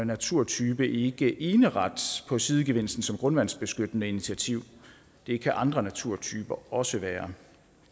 naturtype ikke eneret på sidegevinsten som grundvandsbeskyttende initiativ det kan andre naturtyper også være